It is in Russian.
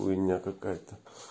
хуйня какая-то